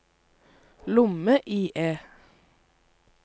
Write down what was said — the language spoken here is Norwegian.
lomme-IE